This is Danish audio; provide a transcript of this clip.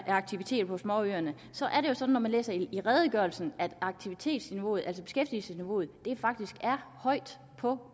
aktiviteter på småøerne er det sådan at man læser i redegørelsen kan at aktivitetsniveauet altså beskæftigelsesniveauet faktisk er højt på